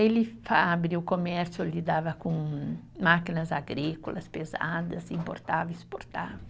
Ele abriu comércio, lidava com máquinas agrícolas pesadas, importava e exportava.